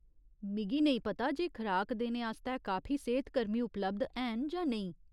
मिगी नेईं पता जे खराक देने आस्तै काफी सेह्तकर्मी उपलब्ध हैन जां नेईं।